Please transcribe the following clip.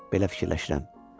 Belə fikirləşirəm.